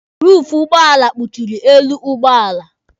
Ruufu ụgbọala kpuchịrị elu ụgbọala.